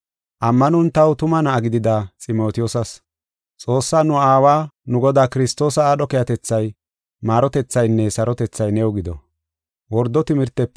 ammanon taw tuma na7a gidida Ximotiyoosas. Xoossaa nu Aawa, nu Godaa Kiristoosa aadho keehatethay, maarotethaynne sarotethay new gido.